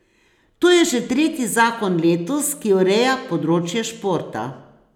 To je že tretji zakon letos, ki ureja področje športa.